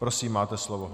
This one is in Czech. Prosím, máte slovo.